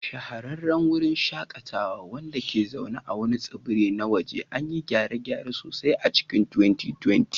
Shahararran wurin shakatawa, wanda ke zaune a wani tsibiri na waje, an yi gyare-gyare sosai a cikin 2020.